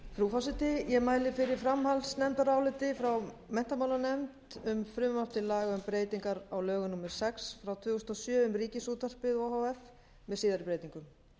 frú forseti ég mæli fyrir framhaldsnefndaráliti frá menntamálanefnd um frumvarp til laga um breytingar á lögum númer sex tvö þúsund og sjö um ríkisútvarpið o h f með síðari breytingum